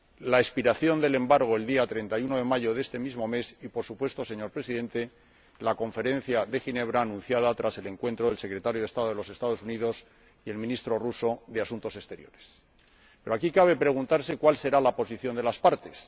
la expiración del embargo el día 31 de este mismo mes y, por supuesto, señor Presidente, la Conferencia de Ginebra, anunciada tras el encuentro del secretario de estado de los Estados Unidos y el ministro de Asuntos Exteriores de Rusia. Pero aquí cabe preguntarse cuál será la posición de las partes.